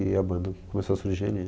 E a banda começou a surgir ali.